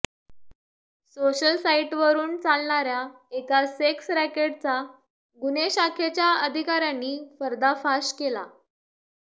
social साईटवरुन चालणार्या एका सेक्स रॅकेटचा गुन्हे शाखेच्या अधिकार्यांनी पर्दाफाश केला